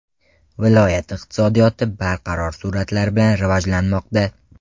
Viloyat iqtisodiyoti barqaror sur’atlar bilan rivojlanmoqda.